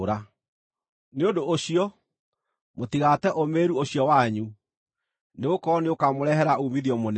Nĩ ũndũ ũcio, mũtigate ũũmĩrĩru ũcio wanyu; nĩgũkorwo nĩũkamũrehere uumithio mũnene.